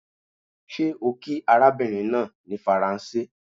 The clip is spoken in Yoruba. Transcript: ṣe o kí arabinrin naa ni Faranse?